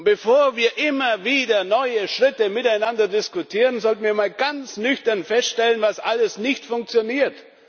Bevor wir immer wieder neue Schritte miteinander diskutieren, sollten wir einmal ganz nüchtern feststellen, was alles nicht funktioniert.